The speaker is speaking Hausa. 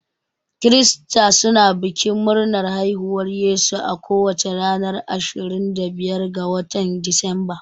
Krista suna bikin murnar haihuwar Yesu a kowace ranar ashirin da biyar ga watan disamba.